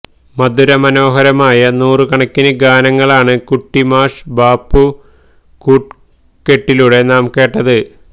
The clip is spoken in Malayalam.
മധുര മനോഹരമായ യ നൂറ് കണക്കിന് ഗാനങ്ങളാണ് കുട്ടി മാഷ് ബാപ്പു കൂട്ട് കെട്ടിലൂടെ നാം കേട്ടത്